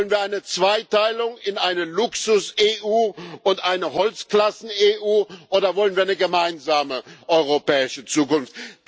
Wollen wir eine Zweiteilung in eine Luxus EU und eine Holzklassen EU, oder wollen wir eine gemeinsame europäische Zukunft?